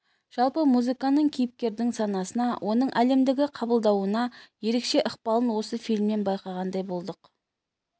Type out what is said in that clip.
жалпы музыканың кейіпкердің санасына оның әлемді қабылдауына ерекше ықпалын осы фильмнен байқағандай болдық